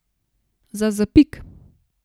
Za zapik!